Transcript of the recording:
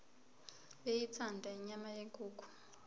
beyithanda inyama yenkukhu